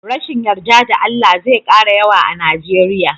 Rashin yarda da Allah zai kara yawa a Nijeriya.